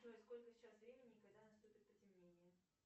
джой сколько сейчас времени и когда наступит потемнение